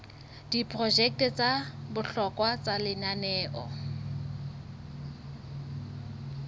diprojeke tsa bohlokwa tsa lenaneo